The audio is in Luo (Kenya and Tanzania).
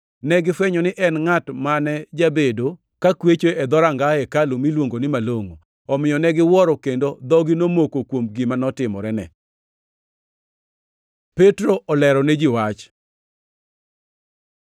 negifwenyo ni en e ngʼat mane jabedo kakwecho e dhoranga hekalu miluongo ni Malongʼo, omiyo ne giwuoro kendo dhogi nomoko kuom gima notimorene. Petro olero ne ji wach